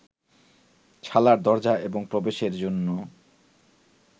ছালার দরজা এবং প্রবেশের জন্য